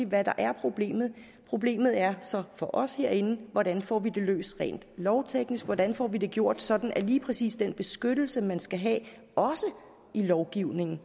hvad der er problemet problemet er så for os herinde hvordan får vi det løst rent lovteknisk hvordan får vi det gjort sådan at lige præcis den beskyttelse man skal have også i lovgivningen